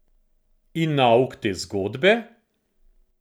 In nauk te zgodbe?